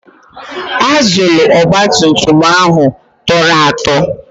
Azụlụ ogbatumtum ahụ tọrọ atọ.